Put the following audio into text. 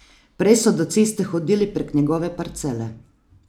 Prej so do ceste hodili prek njegove parcele.